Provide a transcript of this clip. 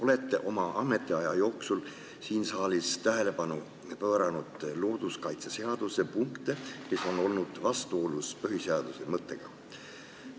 Olete oma ametiaja jooksul siin saalis tähelepanu pööranud looduskaitseseaduse punktidele, mis on olnud vastuolus põhiseaduse mõttega.